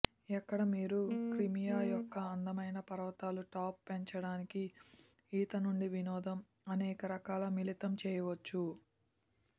ఎక్కడ మీరు క్రిమియా యొక్క అందమైన పర్వతాలు టాప్ పెంచడానికి ఈత నుండి వినోదం అనేక రకాల మిళితం చేయవచ్చు